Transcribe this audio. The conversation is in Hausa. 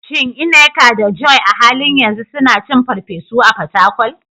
Shin Nneka da Joy a halin yanzu suna cin farfesu a Fatakwal?